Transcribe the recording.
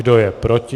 Kdo je proti?